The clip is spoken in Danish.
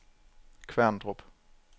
Kværndrup